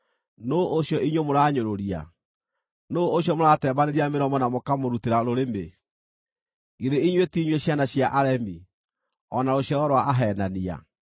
Nũũ ũcio inyuĩ mũranyũrũria? Nũũ ũcio mũratembanĩria mĩromo na mũkamũrutĩra rũrĩmĩ? Githĩ inyuĩ ti inyuĩ ciana cia aremi, o na rũciaro rwa aheenania?